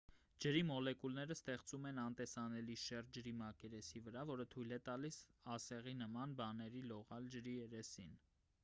ջրի մոլեկուլները ստեղծում են անտեսանելի շերտ ջրի մակերեսի վրա որը թույլ է տալիս ասեղի նման բաներին լողալ ջրի երես